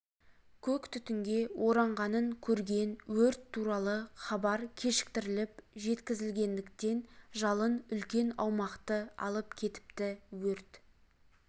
көк түтінге оранғанын көрген өрт туралы хабар кешіктіріліп жеткізілгендіктен жалын үлкен аумақты алып кетіпті өрт